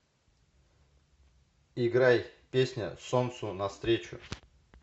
играй песня солнцу навстречу